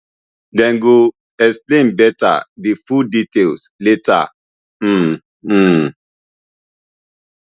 dem go explain beta di full details later um um